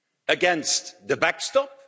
against the backstop.